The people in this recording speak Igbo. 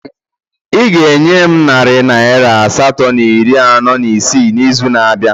Ị ga-enye m narị naira asatọ na iri anọ na isii n'izu na-abịa